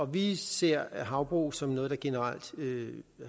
vi ser havbrug som noget der generelt